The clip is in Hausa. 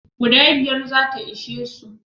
Guda biyar za ta ishe su.